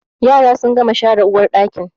Yaran sun gama share uwarɗakin